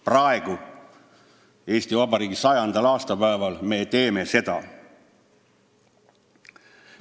Praegu, Eesti Vabariigi 100. aastapäeval, me teeme seda.